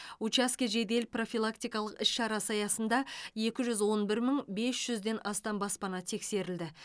учаске жедел профилактикалық іс шарасы аясында екі жүз он бір мың бес жүзден астам баспана тексерілді